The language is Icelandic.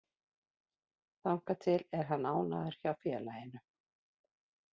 Þangað til er hann ánægður hjá félaginu.